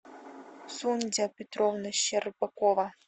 сундзя петровна щербакова